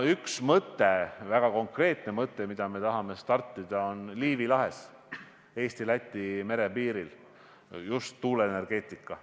Üks mõte, väga konkreetne mõte, millega me tahame algust teha, on Liivi lahes Eesti ja Läti merepiiril seotud just tuuleenergeetikaga.